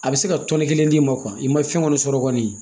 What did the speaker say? A bɛ se ka tɔni kelen d'i ma i ma fɛn kɔni sɔrɔ kɔni